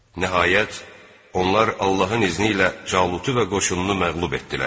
Nəhayət, onlar Allahın izni ilə Calutu və qoşununu məğlub etdilər.